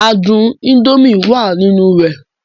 Adùn Indomie wá nínú rẹ̀